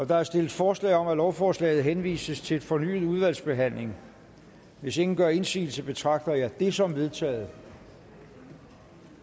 der er stillet forslag om at lovforslaget henvises til fornyet udvalgsbehandling hvis ingen gør indsigelse betragter jeg dette som vedtaget